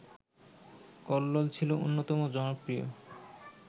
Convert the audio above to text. কল্লোল ছিল অন্যতম জনপ্রিয়